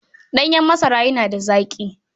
Ɗanyen masara yana da zaƙi.